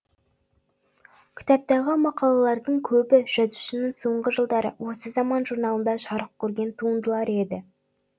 кітаптағы мақалалардың көбі жазушының соңғы жылдары осы заман журналында жарық көрген туындылары еді